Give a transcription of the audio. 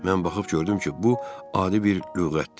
Mən baxıb gördüm ki, bu adi bir lüğətdir.